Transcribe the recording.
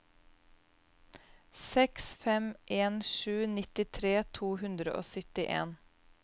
seks fem en sju nittitre to hundre og syttien